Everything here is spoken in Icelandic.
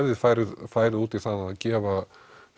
við færum færum út í það að gefa